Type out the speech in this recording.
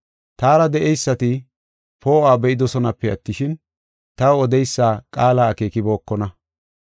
Taara de7eysati poo7uwa be7idosonape attishin, taw odeysa qaala akeekibokona.